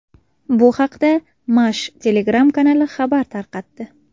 Bu haqda Mash Telegram-kanali xabar tarqatdi.